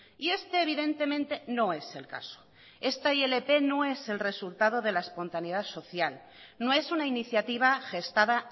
y este evidentemente no es el caso esta ilp no es el resultado de la espontaneidad social no es una iniciativa gestada